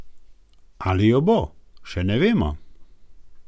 Ali jo bo, še ne vemo.